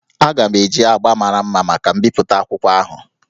Aga m eji agbá mara mma maka mbipụta akwụkwọ ahụ